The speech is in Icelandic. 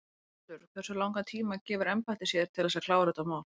Höskuldur: Hversu langan tíma gefur embættið sér til þess að klára þetta mál?